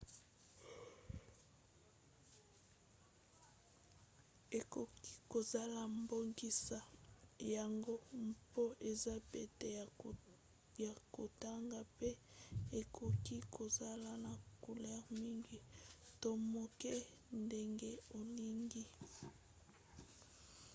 ekoki kozala bongisa yango mpo eza pete na kotanga mpe ekoki kozala na couleur mingi to moke ndenge olingi